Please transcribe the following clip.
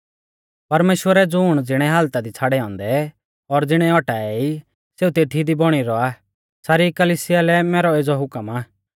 परमेश्‍वरै ज़ुण ज़िणै हालता दी छ़ाड़ै औन्दै और ज़िणै औटाऐ ई सेऊ तेथी दी बौणी रौआ सारी कलिसिया लै मैरौ एज़ौ हुकम आ